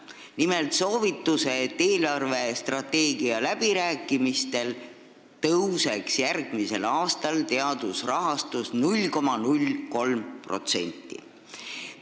Nimelt soovituse, et eelarvestrateegia läbirääkimistel tõuseks järgmisel aastal teadusrahastus 0,03%.